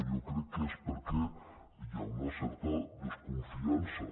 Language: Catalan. jo crec que és perquè hi ha una certa desconfiança